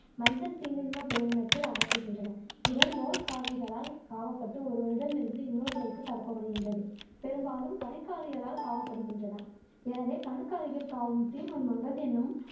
மஞ்சள் தீநுண்மம் பேரினத்தில் அகற்றுகின்றன இவை நூல் காவிகளால் காவப்பட்டு ஒருவரிடமிருந்து இன்னொருவருக்கு பரப்பப்படுகின்றது பெரும்பாலும் கணுக்காலிகளால் காவப்படுகின்றன எனவே கணுக்காளிகள் காவும் தீநுண்மங்கள் என்னும்